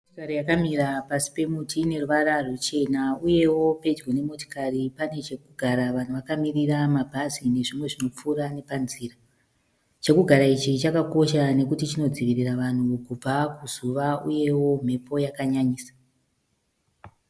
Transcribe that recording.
Motokari yakamira pasi pemuti. Ine ruvara ruchena uyewo pedyo nemotikari pane chekugara. Vanhu vakamirira mabhazi nezvimwe zvinopfuura nepanzira. Chekugara ichi chakakosha nekuti chinodzivirira vanhu kubva kuzuva uyewo mhepo yakanyanyisa.